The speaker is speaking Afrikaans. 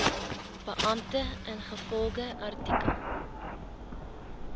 beampte ingevolge artikel